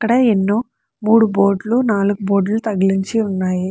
అక్కడ ఎన్నో మూడు బోర్డు లు నాలుగు బోర్డు లు తగిలించి ఉన్నాయి.